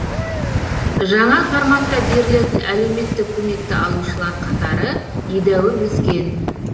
жаңа форматта берілетін әлеуметтік көмекті алушылар қатары едәуір өскен